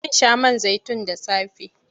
Zan sha man zaitun da safe.